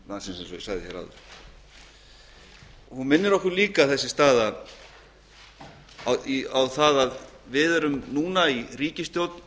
þessi staða minnir okkur líka á það að við erum núna í ríkisstjórn